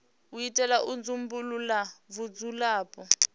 u itela u dzumbulula vhudzulapo